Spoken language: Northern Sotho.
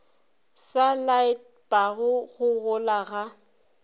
se laetpago go gola ga